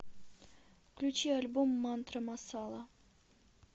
включи альбом мантра масала